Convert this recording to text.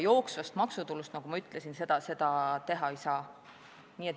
Jooksvast maksutulust, nagu ma ütlesin, seda teha ei saa.